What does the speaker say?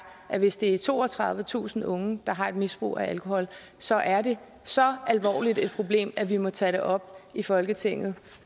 at hvis det er toogtredivetusind unge der har et misbrug af alkohol så er det så alvorligt et problem at vi må tage det op i folketinget